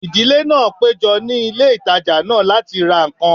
Ìdílé náà péjọ ní ilé ìtajà náà láti ra ǹkan